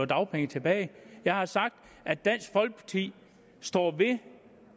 dagpengene tilbage jeg har sagt at dansk folkeparti står ved